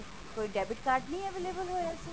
ਕੋਈ debit card ਨਹੀਂ available ਹੋਇਆ ਸੀ